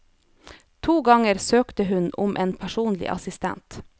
To ganger søkte hun om en personlig assistent.